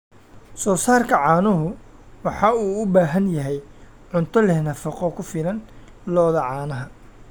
Soosaarka caanuhu waxa uu u baahan yahay cunto leh nafaqo ku filan lo'da caanaha.